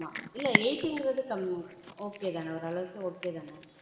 ஆமா இல்ல eight ன்றது கம்மி okay தான ஓரளவுக்கு okay தான